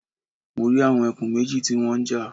Mo rí àwọn ẹkùn méjì tí wọ́n ń jà